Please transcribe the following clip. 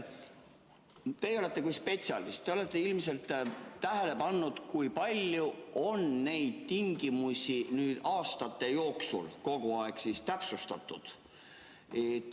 Teie olete spetsialist ja olete ilmselt tähele pannud, kui palju on neid tingimusi aastate jooksul kogu aeg muudetud.